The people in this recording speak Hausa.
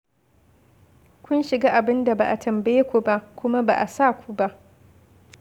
Kun shiga abin da ba a tambaye ku ba, kuma ba a sa ku ba.